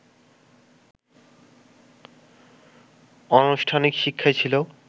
অনানুষ্ঠানিক শিক্ষাই ছিল